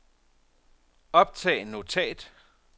optag notat